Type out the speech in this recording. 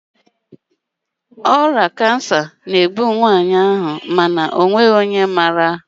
ọrịa kansa na-egbu ya mana ọ nweghị onye maara